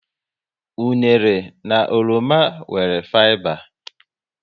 Unere na oroma nwere fiba